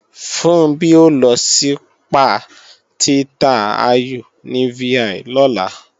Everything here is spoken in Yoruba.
Funbí ó lọ sípà Tirta Ayu ní VI lọ́la